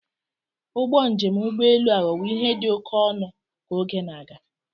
Ụgbọ njem ụgbọ elu aghọwo ihe dị oke ọnụ ka oge na-aga.